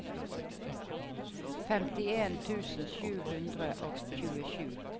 femtien tusen sju hundre og tjuesju